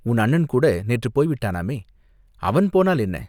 உன் அண்ணன் கூட நேற்றுப் போய் விட்டானாமே?" "அவன் போனால் என்ன?